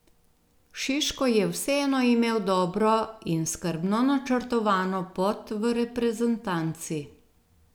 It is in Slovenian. Šiško je vseeno imel dobro in skrbno načrtovano pot v reprezentanci.